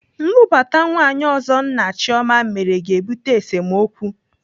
Nlụbata nwaanyị ọzọ nna Chioma mere ga-ebute esemokwu.